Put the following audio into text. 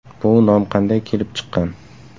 Bu nom qanday kelib chiqqan?